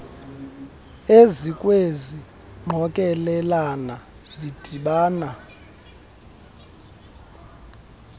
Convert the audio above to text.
ezikwezi ngqokelela zidibana